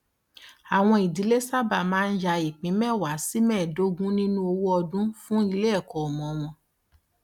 àwọn ìdílé sábà máa ń ya ìpín mẹwàá sí mẹẹdógún nínú owó ọdún fún iléẹkọ ọmọ wọn